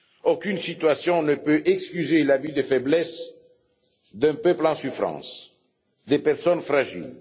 Aucune situation ne peut excuser l'abus de faiblesse d'un peuple en souffrance, des personnes fragiles.